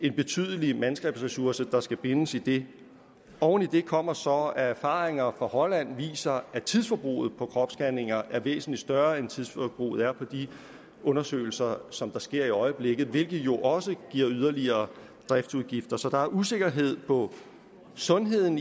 en betydelig mandskabsressource der skal bindes i det oven i det kommer så at erfaringer fra holland viser at tidsforbruget på kropsscanninger er væsentlig større end tidsforbruget er på de undersøgelser som der sker i øjeblikket hvilket jo også giver yderligere driftsudgifter så der er usikkerhed på sundheden